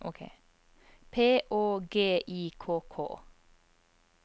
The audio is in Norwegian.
P Å G I K K